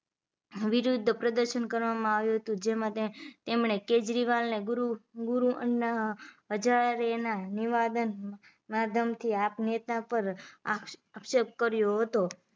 વિરોધ પ્રદર્શન કરવામાં આવ્યું હતુ જેમાં તેમણે કેજરીવાલ ને ગુરુ ગુરુ અન્ના હજારેના નીવાદન માં ધમકી આપ નેતા પર આક્ષેપ કર્યો હતો